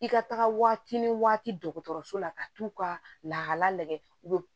I ka taga waati ni waati dɔgɔtɔrɔso la ka t'u ka lahala lajɛ u bɛ